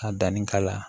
Ka danni k'a la